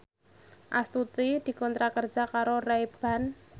Astuti dikontrak kerja karo Ray Ban